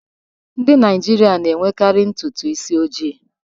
Ndị Naijiria na-enwekarị ntutu isi ojii